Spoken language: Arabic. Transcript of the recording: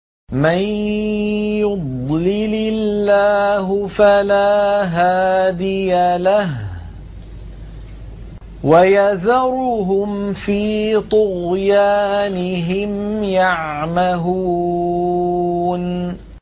مَن يُضْلِلِ اللَّهُ فَلَا هَادِيَ لَهُ ۚ وَيَذَرُهُمْ فِي طُغْيَانِهِمْ يَعْمَهُونَ